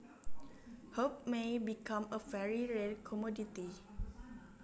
Hope may become a very rare commodity